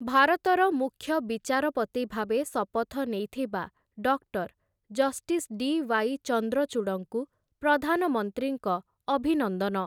ଭାରତର ମୁଖ୍ୟ ବିଚାରପତି ଭାବେ ଶପଥ ନେଇଥିବା ଡକ୍ଟର୍ ଜଷ୍ଟିସ ଡି.ୱାଇ. ଚନ୍ଦ୍ରଚୂଡ଼ଙ୍କୁ ପ୍ରଧାନମନ୍ତ୍ରୀଙ୍କ ଅଭିନନ୍ଦନ ।